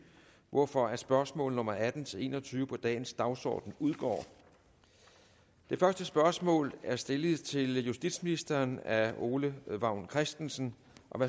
hvorfor spørgsmål nummer atten til en og tyve på dagens dagsorden udgår det første spørgsmål er stillet til justitsministeren af ole vagn christensen